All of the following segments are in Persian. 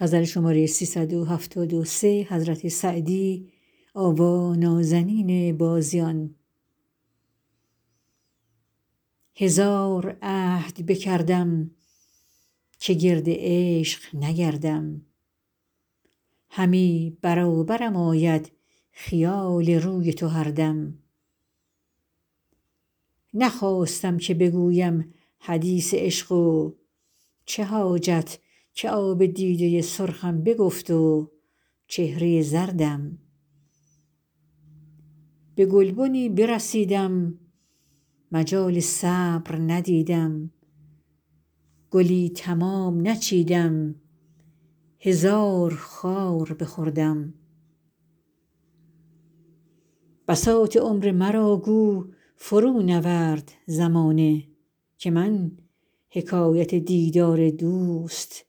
هزار عهد بکردم که گرد عشق نگردم همی برابرم آید خیال روی تو هر دم نخواستم که بگویم حدیث عشق و چه حاجت که آب دیده سرخم بگفت و چهره زردم به گلبنی برسیدم مجال صبر ندیدم گلی تمام نچیدم هزار خار بخوردم بساط عمر مرا گو فرونورد زمانه که من حکایت دیدار دوست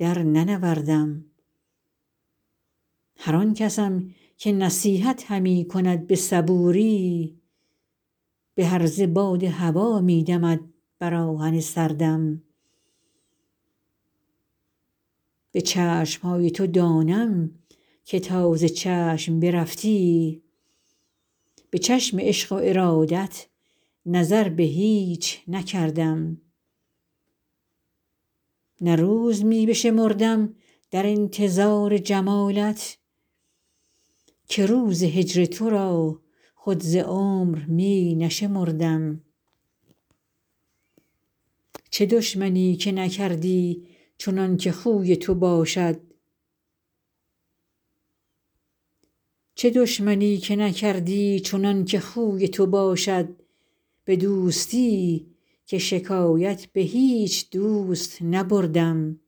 درننوردم هر آن کسم که نصیحت همی کند به صبوری به هرزه باد هوا می دمد بر آهن سردم به چشم های تو دانم که تا ز چشم برفتی به چشم عشق و ارادت نظر به هیچ نکردم نه روز می بشمردم در انتظار جمالت که روز هجر تو را خود ز عمر می نشمردم چه دشمنی که نکردی چنان که خوی تو باشد به دوستی که شکایت به هیچ دوست نبردم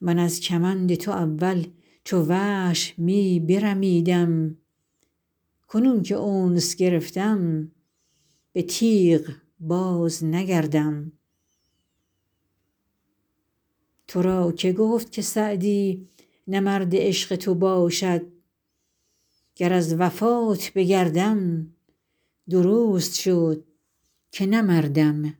من از کمند تو اول چو وحش می برمیدم کنون که انس گرفتم به تیغ بازنگردم تو را که گفت که سعدی نه مرد عشق تو باشد گر از وفات بگردم درست شد که نه مردم